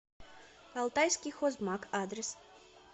алтайский хозмаг адрес